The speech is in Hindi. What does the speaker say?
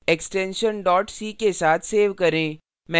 extension c के साथ सेव करें